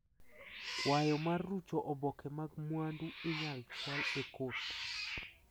Kwayo mar rucho oboke mag mwandu inyal chwal e kot.